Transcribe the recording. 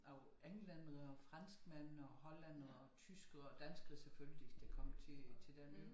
Af englændere og franskmænd og hollændere og tyskere og danskere selvfølgelig der kom til til den ø